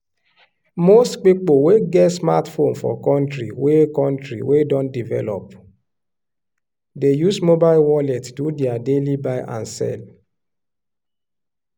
most pipo wey get smartphone for country wey country wey don develop dey use mobile wallet do their daily buy and sell.